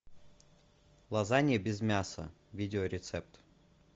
лазанья без мяса видеорецепт